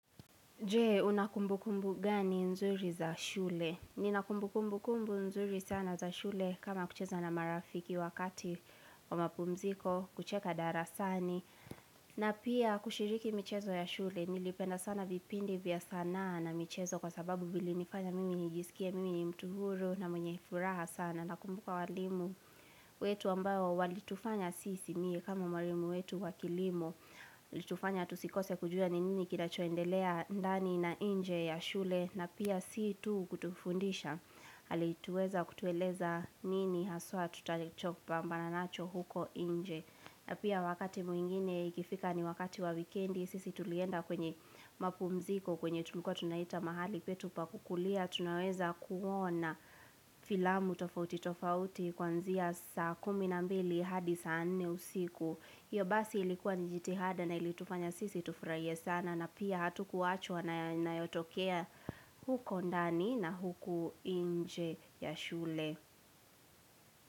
Je, una kumbu kumbu gani nzuri za shule? Nina kumbu kumbu kumbu nzuri sana za shule kama kucheza na marafiki wakati wa mapumziko, kucheka darasani. Na pia kushiriki michezo ya shule, nilipenda sana vipindi vya sanaa na michezo kwa sababu vili nifanya mimi nijisikie mimi ni mtu huru na mwenye furaha sana. Nakumbuka walimu wetu ambao walitufanya sisi mie kama walimu wetu wakilimo. Litufanya tusikose kujua ni nini kinachoendelea ndani na nje ya shule na pia si tu kutufundisha. Alituweza kutueleza nini haswa tutacho pambana nacho huko inje. Na pia wakati mwingine ikifika ni wakati wa weekendi sisi tulienda kwenye mapumziko kwenye tulikuwa tunaita mahali petu pa kukulia. Tunaweza kuona filamu tofauti tofauti kuanzia saa kumi na mbili hadi saa nne usiku hiyo basi ilikuwa ni jitihada na ilitufanya sisi tufurahie sana na pia hatu kuachwa na yanayotokea huko ndani na huko nje ya shule.